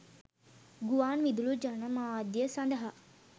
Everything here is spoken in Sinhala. ගුවන් විදුලි ජනමාධ්‍ය සඳහා